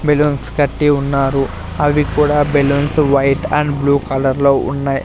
Balloons కట్టి ఉన్నారు అవి కూడా బెలూన్స్ వైట్ అండ్ బ్లూ కలర్లో ఉన్నాయ్.